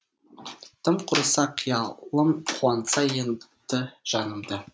тым құрыса қиялым қуантса етті жанымды